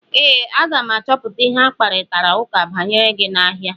Ee, m ga-achọpụta ihe akparitara ụka banyere gị n'ahịa.